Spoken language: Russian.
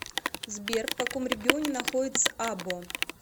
сбер в каком регионе находится або